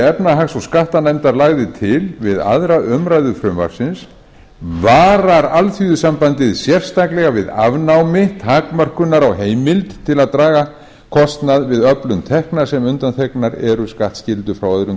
efnahags og skattanefndar lagði til við aðra umræðu frumvarpsins varar alþýðusambandið sérstaklega við afnámi takmörkunar á heimild til að draga kostnað við öflun tekna sem undanþegnar eru skattskyldu frá öðrum